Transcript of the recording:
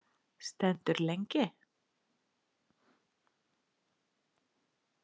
Stendur lengi.